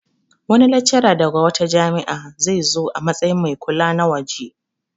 Wani laccara daga wata jami'a zai zo a matsayin mai kula na waje